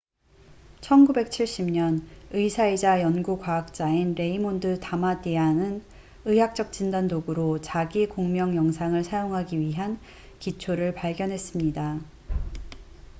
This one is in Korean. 1970년 의사이자 연구 과학자인 레이몬드 다마디안raymond damadian은 의학적 진단 도구로 자기 공명 영상을 사용하기 위한 기초를 발견했습니다